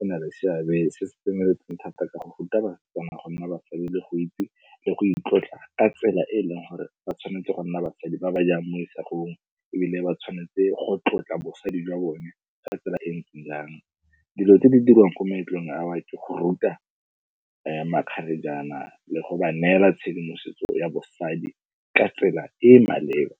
e na le seabe se se tseneletseng thata ka go ruta bana go nna basadi le go itse, le go itlotla ka tsela e e leng gore ba tshwanetse go nna basadi ba ba jang mo isagong ebile ba tshwanetse go tlotla bosadi jwa bone ka tsela e ntseng yang. Dilo tse di diriwang ko meletlong awa, ke go ruta makgarejana le go ba neela tshedimosetso ya bosadi ka tsela e e maleba.